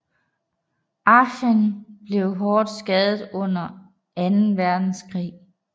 Aachen blev hårdt skadet under Anden Verdenskrig